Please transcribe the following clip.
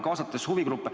Kaasati huvigruppe.